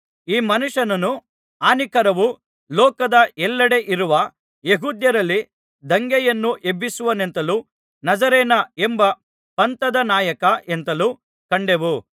ಈ ಮನುಷ್ಯನನು ಹಾನಿಕರವೂ ಲೋಕದ ಎಲ್ಲೆಡೆ ಇರುವ ಯೆಹೂದ್ಯರಲ್ಲಿ ದಂಗೆಯನ್ನು ಎಬ್ಬಿಸುವವನೆಂತಲೂ ನಜರೇನ ಎಂಬ ಪಂಥದ ನಾಯಕ ಎಂತಲೂ ಕಂಡೆವು